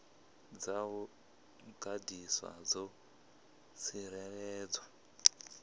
dza u gandiswa dzo tsireledzwa